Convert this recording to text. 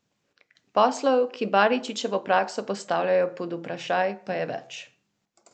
Poslov, ki Baričičevo prakso postavljajo pod vprašaj, pa je več.